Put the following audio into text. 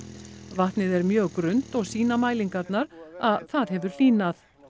vatnið er mjög grunnt og sýna mælingarnar að það hefur hlýnað